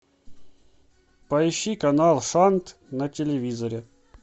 поищи канал сант на телевизоре